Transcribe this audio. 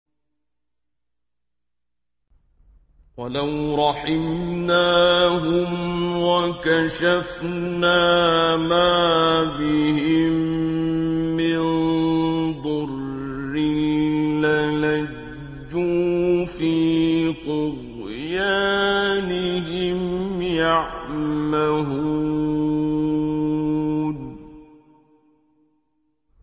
۞ وَلَوْ رَحِمْنَاهُمْ وَكَشَفْنَا مَا بِهِم مِّن ضُرٍّ لَّلَجُّوا فِي طُغْيَانِهِمْ يَعْمَهُونَ